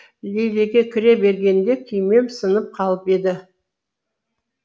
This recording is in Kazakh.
лильеге кіре бергенде күймем сынып қалып еді